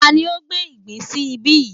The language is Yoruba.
Tani ó gbé ìgbín sí ibí yìí?